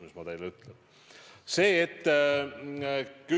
Mis ma teile ütlen?